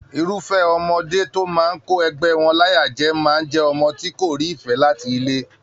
Irufẹ ọmọdé tó máa kó ẹgbẹ wọn láyà jẹ máa n jẹ ọmọ tí kò rí ìfẹ láti ilé.